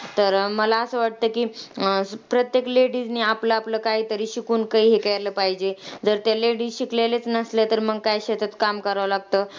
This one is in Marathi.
तर, मला असं वाटतं की, अं प्रत्येक ladies नी आपलं आपलं काहीतरी शिकून काही हे केलं पाहिजे. जर ते ladies शिकलेल्याच नसल्या तर मंग काय शेतात काम करावं लागतं.